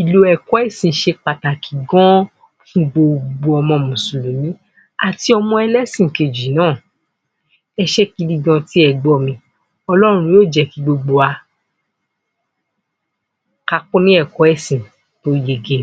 Ìlò ẹ̀kọ́ ẹ̀sìn ṣe pàtàkì gan-an fún gbogbo ọmọ mùsùlùmú àti ọmọ ẹlẹ́sìn kejì náà. Ẹ ṣé gidi gan-an tí ẹ gbọ́ mi. Ọlọ́run yóò jẹ́ kí gbogbo wa ká kún ní ẹ̀kọ́ ẹ̀sìn tí ó yege.